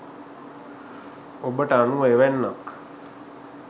ඔබට අනුව එවැන්නක්